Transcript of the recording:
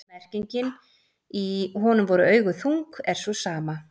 merkingin í „honum voru augu þung“ er sú sama